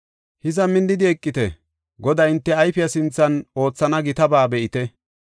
“Hiza minnidi eqite; Goday hinte ayfiya sinthan oothana gitaba be7ite.